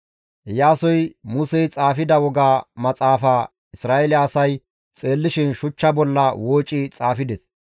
Iyaasoy Musey xaafida Woga Maxaafaa Isra7eele asay xeellishin shuchcha bolla wooci xaafides.